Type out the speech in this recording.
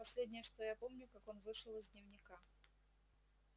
последнее что я помню как он вышел из дневника